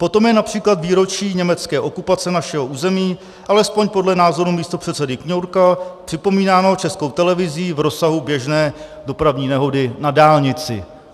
Potom je například výročí německé okupace našeho území, alespoň podle názoru místopředsedy Kňourka, připomínáno Českou televizí v rozsahu běžné dopravní nehody na dálnici.